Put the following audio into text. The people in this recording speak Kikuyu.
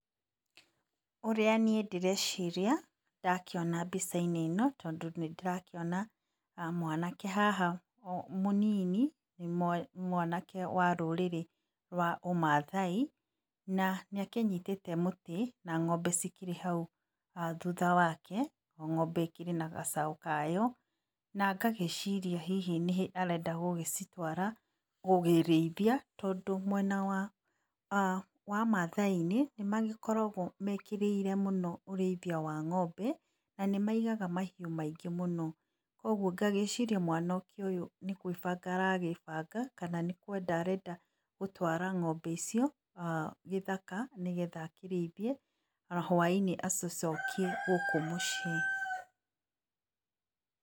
Ũrĩa niĩ ndĩreciria, ndakiona mbica-inĩ ĩno tondũ nĩndĩrakĩona mwanake haha mũnĩnĩ, nĩ mwanake wa rũrĩrĩ rwa ũmathaĩ, na nĩ akĩnyitĩte mũtĩ, na ng'ombe cikĩrĩ hau, thutha wake o ng'ombe ĩkĩrĩ na gacau kayo, na ngagĩciria hihi arenda gũgĩcitwara kũrĩithia, tondũ mwena wa mathai-inĩ nĩmagĩkoragwo mekĩrĩire mũno ũrĩithia wa ng'ombe, na nĩmaigaga mahiũ maĩngĩ mũno kwa ũgũo ngagĩciria mwanake ũyũ nĩgwĩbanaga aragĩbanga, kana nĩkwenda arenda gũtwara ng'ombe icio gĩthaka, nĩgetha akĩrĩithie na hwaĩnĩ agĩcokie gũkũ muciĩ.